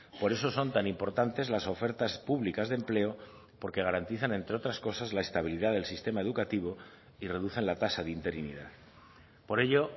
por eso son tan importantes las ofertas públicas de empleo porque garantizan entre otras cosas la estabilidad del sistema educativo y reducen la tasa de interinidad por ello